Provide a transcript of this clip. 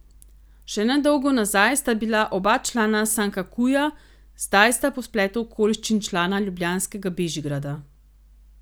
Še nedolgo nazaj sta bila oba člana Sankakuja, zdaj sta po spletu okoliščin člana ljubljanskega Bežigrada.